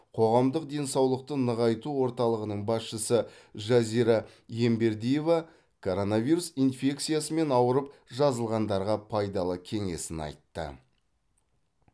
қоғамдық денсаулықты нығайту орталығының басшысы жазира ембердиева коронавирус инфекциясымен ауырып жазылғандарға пайдалы кеңесін айтты